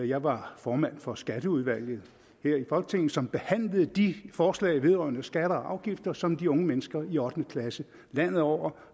jeg var formand for skatteudvalget her i folketinget som behandlede de forslag vedrørende skatter og afgifter som de unge mennesker i ottende klasse landet over